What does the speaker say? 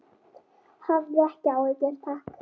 Hafði ekki áhuga, takk.